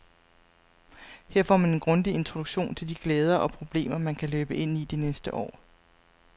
Her får man en grundig introduktion til de glæder og problemer, man kan løbe ind i det næste år.